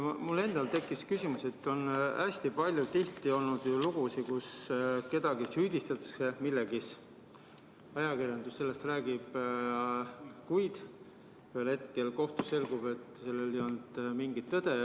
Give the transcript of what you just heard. Mul tekkis küsimus, et hästi palju on olnud selliseid lugusid, kus kedagi süüdistatakse milleski ja ajakirjandus räägib sellest, kuid ühel hetkel kohtus selgub, et selles ei olnud mingit tõde.